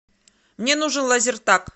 мне нужен лазертаг